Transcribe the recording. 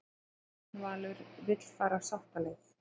Björn Valur vill fara sáttaleið